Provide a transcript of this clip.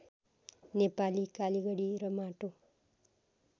नेपाली कालिगडी र माटो